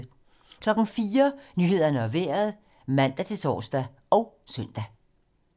04:00: Nyhederne og Vejret (man-tor og søn)